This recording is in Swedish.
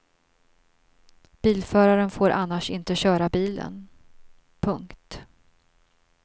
Bilföraren får annars inte köra bilen. punkt